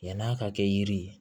Yann'a ka kɛ yiri ye